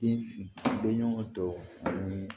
Den bɛɲɔgɔn tɔw ni